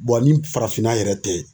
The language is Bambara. ni farafinna yɛrɛ tɛ